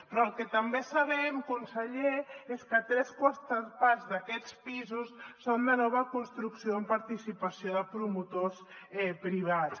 però el que també sabem conseller és que tres quartes parts d’aquests pisos són de nova construcció amb participació de promotors privats